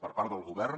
per part del govern